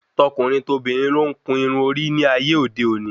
Tọkùnrin tobìnrin ló ń kun irun orí ní ayé òde òní